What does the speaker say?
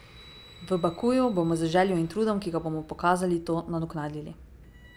V Bakuju bomo z željo in trudom, ki ga bomo pokazali, to nadoknadili.